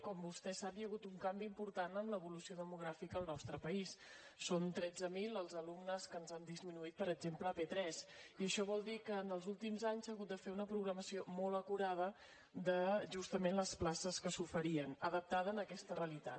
com vostè sap hi ha hagut un canvi important en l’evolució demogràfica al nostre país són tretze mil els alumnes que ens han disminuït per exemple a p3 i això vol dir que en els últims anys s’ha hagut de fer una programació molt acurada de justament les places que s’oferien adaptada a aquesta realitat